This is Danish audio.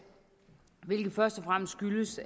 hvilket først og fremmest skyldes